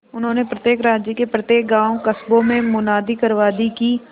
उन्होंने प्रत्येक राज्य के प्रत्येक गांवकस्बों में मुनादी करवा दी कि